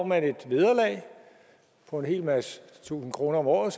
man et vederlag på en hel masse tusinde kroner om året